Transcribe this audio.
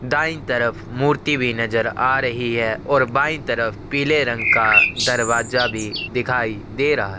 दाई तरफ मूर्ति भी नज़र आ रही है और बाई तरफ पीले रंग का दरवाजा भी दिखाई दे रहा है।